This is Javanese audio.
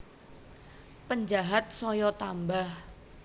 Penjahat saya tambah